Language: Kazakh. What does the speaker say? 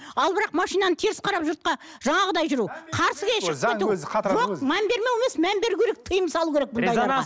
ал бірақ машинаны теріс қарап жұртқа жаңағыдай жүру қарсыға шығып кету жоқ мән бермеу емес мән беру керек тиым салу керек бұндайларға